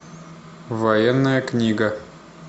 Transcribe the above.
военная книга